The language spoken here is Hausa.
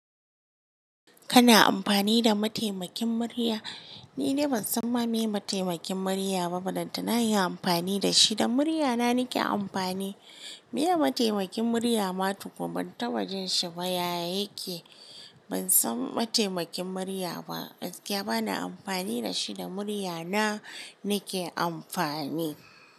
Kana amfani da mataimakin murya? Ni de ban san wa me mataimakin murya ba dan tana inyi amfani da shi da muryana nake amfani. Me mataimakin murya ma tukun ban taba jin shi ba yaya yake. Ban san mataimakin murya ba. Kya ba ni amfani da shi da muryana nake amfani.